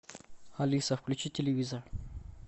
алиса включи телевизор